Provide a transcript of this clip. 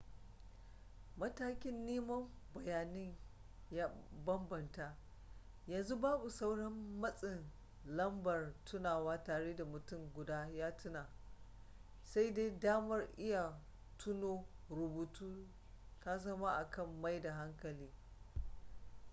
matakin neman bayanin ya bambanta yanzu babu sauran matsin lambar tunawa tare da mutum guda ya tuna sai dai damar iya tuno rubutu ta zama akan maida hankali